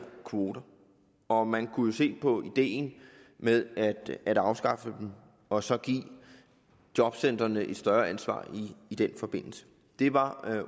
kvoter og man kunne jo se på ideen med at afskaffe dem og så give jobcentrene et større ansvar i den forbindelse det var